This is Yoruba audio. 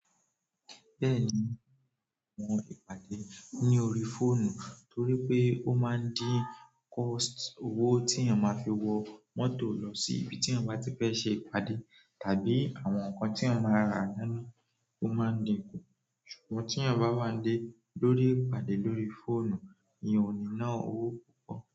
Bẹ́ẹ̀ ni, àwọn ìpàdé lórí fóònù dára, torí pé ó máa ń dín iye owó tí ẹ máa fi wọ mọ́tò lọ sí ibi tí ẹ máa ti fẹ́ ṣe ìpàdé kù, tàbí àwọn nǹkan tí ẹ máa rà lójoojúmọ́. Ṣùgbọ́n tí ẹ bá wà lórí ìpàdé lórí fóònù, ìyẹn ò ní ná owó púpọ̀.